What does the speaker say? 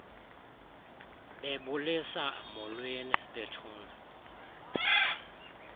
bebulisa molweni bethuna